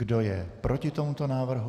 Kdo je proti tomuto návrhu?